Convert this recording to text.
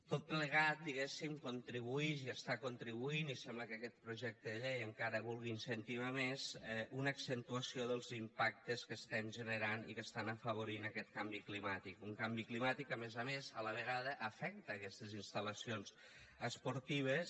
tot plegat diguéssim contribuïx i està contribuint i sembla que aquest projecte de llei encara ho vulgui incentivar més a una accentuació dels impactes que estem generant i que estan afavorint aquest canvi climàtic un canvi climàtic que a més a més a la vegada afecta aquestes instal·lacions esportives